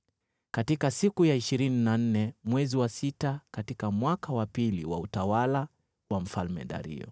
katika siku ya ishirini na nne mwezi wa sita, katika mwaka wa pili wa utawala wa Mfalme Dario.